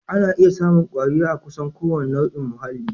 Ana iya samun kwari a kusan kowane nau'in muhalli